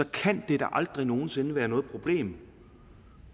kan det da aldrig nogen sinde være noget problem